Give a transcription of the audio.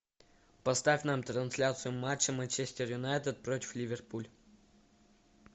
поставь нам трансляцию матча манчестер юнайтед против ливерпуль